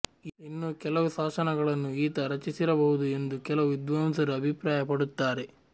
ಇನ್ನೂ ಕೆಲವು ಶಾಸನಗಳನ್ನು ಈತ ರಚಿಸಿರಬಹುದು ಎಂದು ಕೆಲವು ವಿದ್ವಾಂಸರು ಅಭಿಪ್ರಾಯ ಪಡುತ್ತಾರೆ